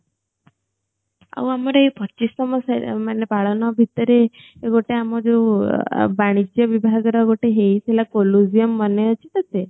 ଆଉ ଆମର ଏଇ ପଚିଶତମ ସେରେ ମାନେ ପାଳନ ଭିତରେ ଗଟେ ଆମ ଯୋଉ ଅ ବାଣୀଜ୍ୟ ବିଭାଗ ର ଗୋଟେ ହେଇଥିଲା colliseum ମନେ ଅଛି ତତେ